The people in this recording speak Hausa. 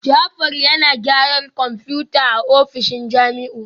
Jafar yana gyaran kwamfutar a ofishin Jamiu